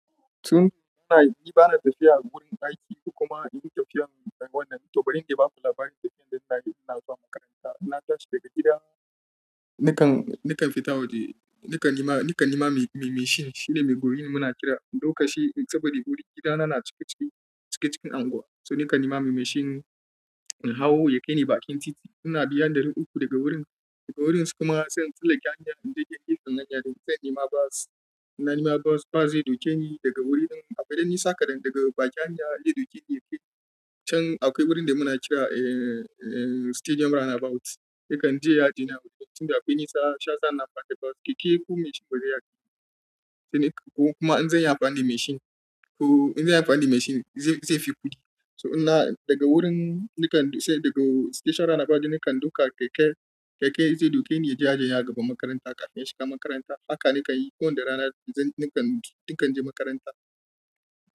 To, muna, ni bana tafiya wurin aiki kuma in yi tafiyar wannan, to ba ran iya ba ku labari tafiyar da ina yi ina zuwa makaranta. Na tashi daga gida, nakan, nakan fita waje, nakan nema, nakan nema mai mashin shine mai goye ni muna kira. Lokaci saboda wuri gida na, na cikacin, cikacin unguwa. So na kan nema mai mashin in hau ya kai ni bakin titi. Muna biyan ɗari uku daga wurin, daga wurin kuma sai in tsallake hanya in dai dai yayi tsananya dai sai in nema bas. Na nema bus, bus zai duke ni daga wurin ɗin. Akwai ɗan nisa kaɗan daga bakin hanya dai ɗauke ni yake can akwai wurin da muna kira, eh, eh, Stadium Roundabout. Yakan je ya aje ni a wurin tunda akwai nisa, shiyasa na faɗi bus. Keke ko mashin bare iya kai ni. Ko kuma in zan yi amfani da mashin, ko in zan yi amfani da mashin zai, zai fi kuɗi. So ina daga wurin na kan sai daga Stadium Roundabout nakan duka keke, keke zai duke ni ya aje ni a gaban makaranta kafin in shiga makaranta. Haka na kan yi kowane rana da zan, nakan, nakan je makaranta.